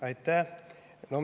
Aitäh!